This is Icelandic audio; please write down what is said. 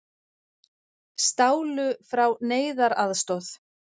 Stálu frá neyðaraðstoð